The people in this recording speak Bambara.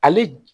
Ale